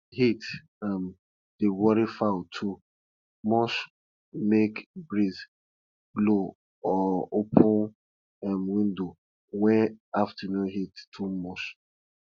heat um dey worry fowl too muchmake breeze blow or open um windows when afternoon heat too much